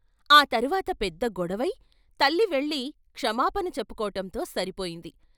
ఆ తర్వాత పెద్ద గొడపై తల్లి వెళ్ళి క్షమాపణ చెప్పుకోటంతో సరిపోయింది.